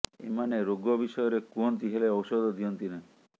ଏମାନେ ରୋଗ ବିଷୟରେ କୁହନ୍ତି ହେଲେ ଔଷଧ ଦିଅନ୍ତି ନାହିଁ